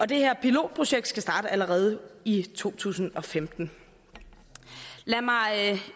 det her pilotprojekt skal starte allerede i to tusind og femten lad mig